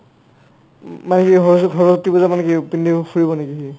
মাহীয়ে সৰস্ৱতী সৰস্ৱতী পূজাত মানে পিন্ধিব ফুৰিব নেকি সি